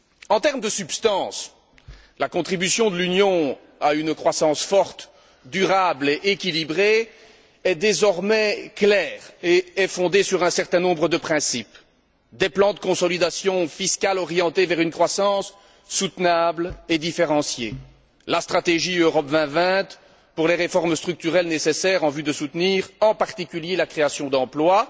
En termes de substance, la contribution de l'Union à une croissance forte, durable et équilibrée est désormais claire et est fondée sur un certain nombre de principes des plans de consolidation fiscale orientés vers une croissance soutenable et différenciée, la stratégie Europe 2020 pour les réformes structurelles nécessaires en vue de soutenir en particulier la création d'emplois,